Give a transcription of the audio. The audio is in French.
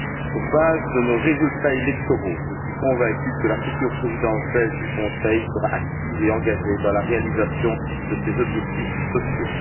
Sur base de nos résultats électoraux, je suis convaincu que la future présidence belge du Conseil sera active et engagée dans la réalisation de ces objectifs sociaux.